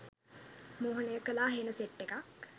මෝහනය කලා හෙන සෙට් එකක්